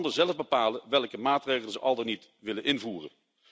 Laat landen zelf bepalen welke maatregelen ze al dan niet willen invoeren.